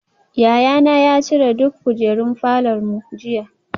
Yayana ya cire duk kujerun falor mu jiya